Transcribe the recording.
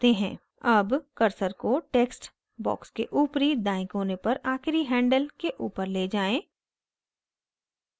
अब cursor को text box के ऊपरी दायें कोने पर आखिरी handle के ऊपर ले जाएँ